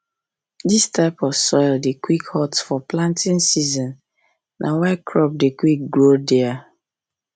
this type of soil dey quick hot for planting season na why crop dey quick grow there